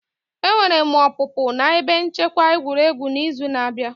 Enwere m opupu na ebe nchekwa egwuregwu n'izu na-abịa.